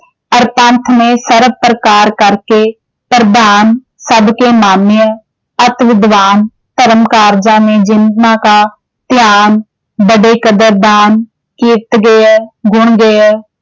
ਅਰ ਪੰਥ ਮੇਂ ਸਰਭ ਪ੍ਰਕਾਰ ਕਰਕੇ ਪ੍ਰਧਾਨ ਸਭਕੇ ਮਾਨਿਯ ਅਤਿ ਵਿਦਵਾਨ ਧਰਮ ਕਾਰਜਾਂ ਨੇ ਧਿਆਨ ਵੱਡੇ ਕਦਰਦਾਨ ਕੀਰਤ ਦਿਐ ਗੁਣ ਦਿਐ